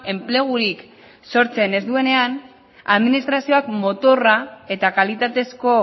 enplegurik sortzen ez duenean administrazioak motorra eta kalitatezko